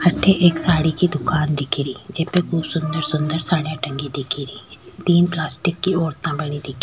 अठे एक साड़ी की दुकान दिखे री जेपे खूब सूंदर सूंदर साडिया टंगी दिखे री तीन पलास्टिक की औरता खड़ी --